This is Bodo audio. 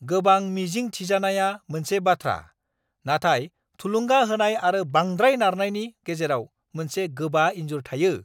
गोबां मिजिं थिजानाया मोनसे बाथ्रा, नाथाय थुलुंगा होनाय आरो बांद्राय नारनायनि गेजेराव मोनसे गोबा इन्जुर थायो!